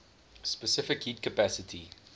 specific heat capacity